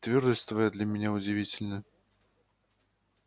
твёрдость твоя для меня удивительна